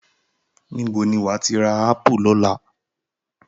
Ibo ni wàá ti rà ápù ní ọ̀la?